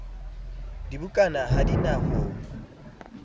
dibukana ha di na ho